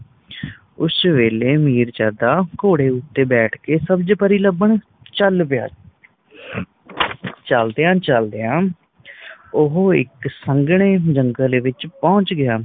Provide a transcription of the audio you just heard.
ਉਸ ਵੇਲੇ ਮਿਰਜਦਾ ਘੋੜੇ ਤੇ ਬੈਠ ਕੇ ਸਬਜ ਪਰੀ ਲੱਭਣ ਚੱਲ ਪਿਆ ਚਲਦਿਆਂ ਚਲਦਿਆਂ ਉਹ ਇੱਕ ਸੰਘਣੇ ਜੰਗਲ ਵਿੱਚ ਪਹੁੰਚ ਗਿਆ